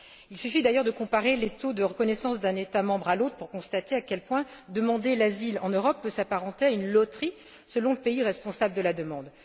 Il suffit d'ailleurs de comparer les taux de reconnaissance d'un État membre à l'autre pour constater à quel point demander l'asile en Europe peut s'apparenter à une loterie selon le pays responsable de la demande.